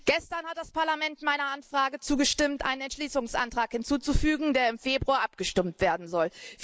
Gestern hat das Parlament meiner Anfrage zugestimmt, einen Entschließungsantrag hinzuzufügen, über den im Februar abgestimmt werden soll.